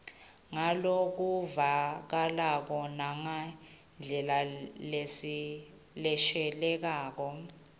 ngalokuvakalako nangendlela leshelelako